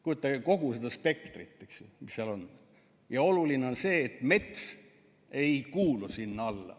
Kujutage kogu seda spektrit, mis seal on, ja oluline on see, et mets ei kuulu sinna alla.